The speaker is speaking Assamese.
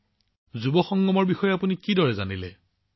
প্ৰধানমন্ত্ৰীঃ যুৱ সংগমৰ বিষয়ে আপুনি কেনেকৈ জানিব পাৰিলে